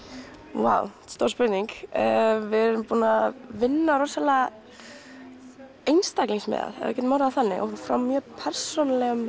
vá stór spurning við erum búin að vinna rosalega einstaklingsmiðað ef við getum orðað það þannig frá mjög persónulegum